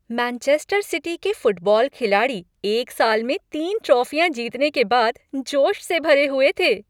Manchester City के football खिलाड़ी एक साल में तीन ट्राफियां जीतने के बाद जोश से भरे हुए थे।